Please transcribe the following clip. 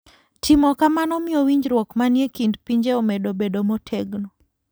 Timo kamano miyo winjruok manie kind pinje omedo bedo motegno.